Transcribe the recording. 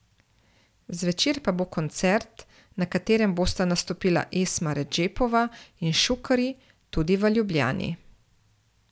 Zvečer pa bo koncert, na katerem bosta nastopila Esma Redžepova in Šukarji, tudi v Ljubljani.